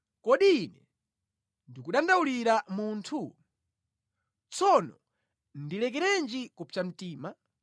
“Kodi ine ndikudandaulira munthu? Tsono ndilekerenji kupsa mtima?